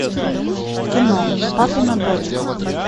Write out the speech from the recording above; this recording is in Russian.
кино папина дочка